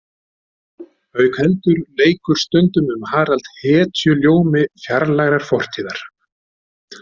Auk heldur leikur stundum um Harald hetjuljómi fjarlægrar fortíðar.